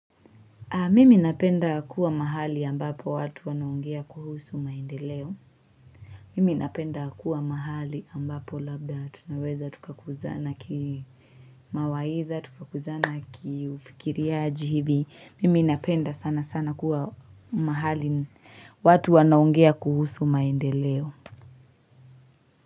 Mimi napenda kuwa mahali ambapo watu wanaongea kuhusu maendeleo Mimi napenda kuwa mahali ambapo labda tunaweza tukakuzana ki Mawaitha tukakuzana ki ufikiriaji hivi mimi napenda sana sana kuwa mahali watu wanaongea kuhusu maendeleo.